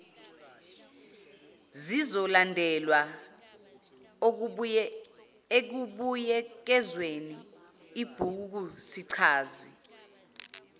zizolandelwa ekubuyekezeni ibhukusichazi